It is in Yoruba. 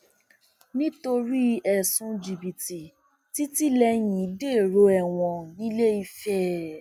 um nítorí ẹsùn jìbìtì tìtìlẹyìn dèrò ẹwọn nìlééfẹ